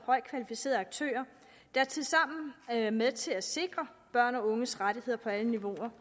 højt kvalificerede aktører der tilsammen er med til at sikre børns og unges rettigheder på alle niveauer